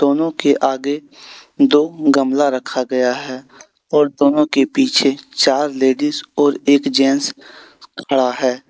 दोनों के आगे दो गमला रखा गया है और दोनों के पीछे चार लेडिस और एक जेंट्स खड़ा है।